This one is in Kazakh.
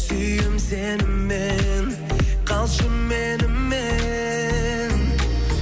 сүйем сені мен қалшы менімен